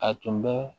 A tun bɛ